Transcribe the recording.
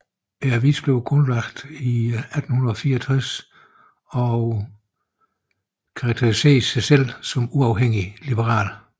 Avisen blev grundlagt i 1864 og karakteriserer sig selv som uafhængigt liberalt